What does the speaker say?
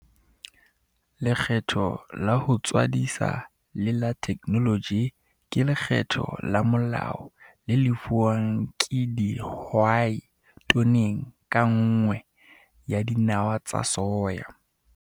Lekgetho la ho tswadisa le la theknoloji ke lekgetho la molao le lefuwang ke dihwai toneng ka nngwe ya dinawa tsa soya.